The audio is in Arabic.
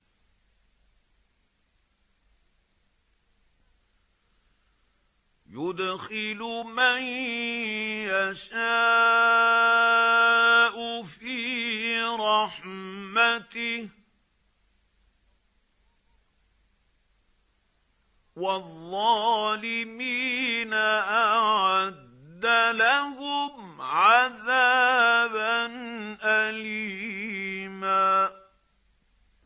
يُدْخِلُ مَن يَشَاءُ فِي رَحْمَتِهِ ۚ وَالظَّالِمِينَ أَعَدَّ لَهُمْ عَذَابًا أَلِيمًا